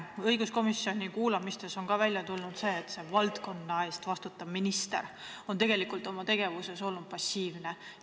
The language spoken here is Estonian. Õiguskomisjoni kuulamistes on välja tulnud, et see valdkonna eest vastutav minister on oma tegevuses olnud passiivne.